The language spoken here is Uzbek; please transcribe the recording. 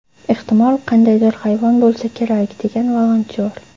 Ehtimol, qandaydir hayvon bo‘lsa kerak”, degan volontyor.